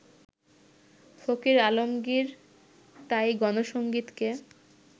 ফকির আলমগির তাই গণসংগীতকে